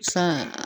San